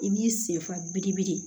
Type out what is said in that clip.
I b'i senfa birikibiri